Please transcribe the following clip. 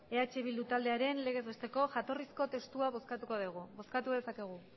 eh bildu taldearen legez besteko jatorrizko testua bozkatuko dugu bozkatu dezakegu